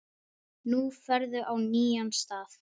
Nú ferðu á nýjan stað.